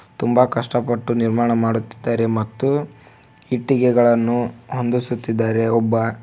ತುಂಬಾ ಕಷ್ಟಪಟ್ಟು ನಿರ್ಮಾಣ ಮಾಡುತ್ತಿದ್ದಾರೆ ಮತ್ತು ಇಟ್ಟಿಗೆಗಳನ್ನು ಹೊಂದಿಸುತ್ತಿದ್ದಾರೆ ಒಬ್ಬ--